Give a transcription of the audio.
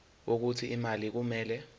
wokuthi imali kumele